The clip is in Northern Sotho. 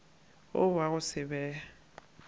wo wa go se be